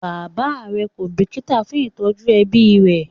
Bàbá rẹ kò bìkítà fún ìtọ́jú ẹbí rẹ̀